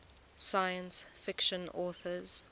science fiction authors